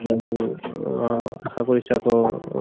অহ আশা কৰিছো আকৌ